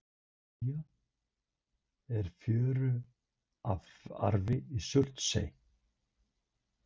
Blálilja og fjöruarfi í Surtsey.